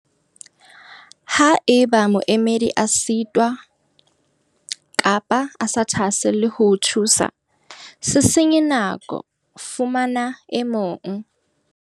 Ha eba moemedi a sitwa kapa a sa thahaselle ho o thusa, se senye nako, fumana e mong.